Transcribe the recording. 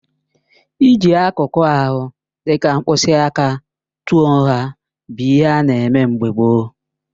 Ịji akụkụ ahụ dịka mkpịsị aka tụọ nha bụ ihe ana eme mgbe gboo.